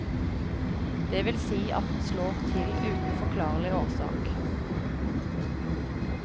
Det vil si at den slår til uten forklarlig årsak.